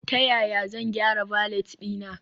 Ta yaya zan gyara valet ɗina?